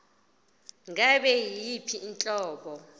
ngabe yiyiphi inhlobo